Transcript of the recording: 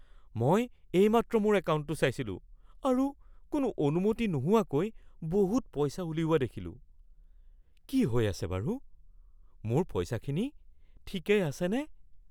মই এইমাত্ৰ মোৰ একাউণ্টটো চাইছিলোঁ আৰু কোনো অনুমতি নোহোৱাকৈ বহুত পইচা উলিওৱা দেখিলোঁ। কি হৈ আছে বাৰু? মোৰ পইচাখিনি ঠিকেই আছেনে?